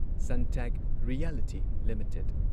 Suntech Realty limited